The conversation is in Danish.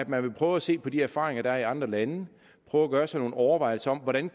man vil prøve at se på de erfaringer der er gjort i andre lande prøve at gøre sig nogle overvejelser om hvordan